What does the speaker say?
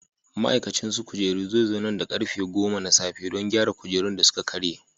Ma'aikacin su kujeru zai zo nan da karfe 10: na safe, don gyara kujerun da suka karye.